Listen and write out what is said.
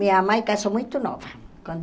Minha mãe casou muito nova, com